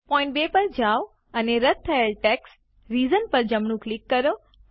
point 2 પર જાઓ અને રદ્દ થયેલ ટેક્સ્ટ રીઝન્સ પર જમણું ક્લિક કરો